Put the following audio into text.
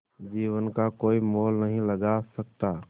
जीवन का कोई मोल नहीं लगा सकता